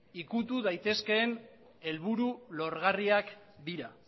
ukitu daitezkeen helburu lorgarriak dira